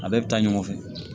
A bɛɛ bɛ taa ɲɔgɔn fɛ